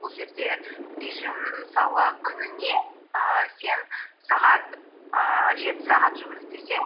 бұл жерде режим мысалы күніне ііі сен сағат ііі жеті сағат жұмыс істесең